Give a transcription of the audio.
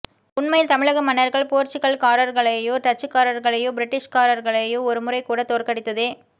உண்மையில் தமிழக மன்னர்கள் போர்ச்சுகல்காரர்களையோ டச்சுக்காரர்களையோ பிரிட்டிஷ்காரர்களையோ ஒருமுறைகூட தோற்கடித்ததே